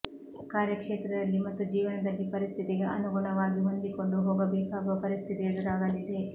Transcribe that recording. ಕಾರ್ಯ ಕ್ಷೇತ್ರದಲ್ಲಿ ಮತ್ತು ಜೀವನದಲ್ಲಿ ಪರಿಸ್ಥಿತಿಗೆ ಅನುಗುಣವಾಗಿ ಹೊಂದಿಕೊಂಡು ಹೋಗಬೇಕಾಗುವ ಪರಿಸ್ಥಿತಿ ಎದುರಾಗಲಿದೆ